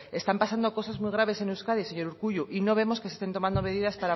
están pasando cosas muy graves en euskadi señor urkullu y no vemos que se estén tomando medidas